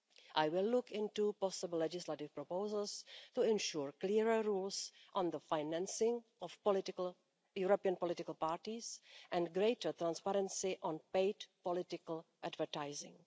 I will look into possible legislative proposals to ensure clearer rules on the financing of European political parties and greater transparency on paid political advertising.